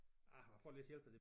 Ah jeg har fået lidt hjælp af det